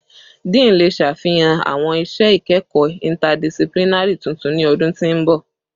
Dean le ṣafihan awọn iṣẹ ikẹkọ interdisciplinary tuntun ni ọdun ti n bọ